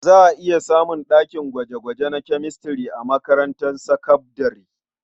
Za a iya samun ɗakin gwaje-gwaje na Chemistry a makarantar sakabdare.